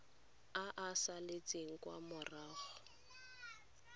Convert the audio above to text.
a a saletseng kwa morago